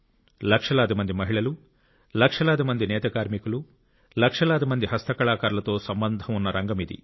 లక్షలాది మంది మహిళలు లక్షలాది మంది నేత కార్మికులు లక్షలాది మంది హస్తకళాకారులతో సంబంధం ఉన్న రంగమిది